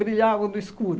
Brilhavam no escuro.